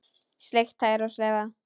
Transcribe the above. Sleikt tær og slefað.